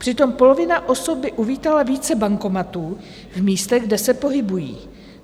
Přitom polovina osob by uvítala více bankomatů v místech, kde se pohybují.